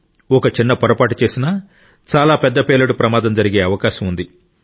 ఒక చిన్న పొరపాటు చేసినా చాలా పెద్ద పేలుడు ప్రమాదం జరిగే అవకాశం ఉంది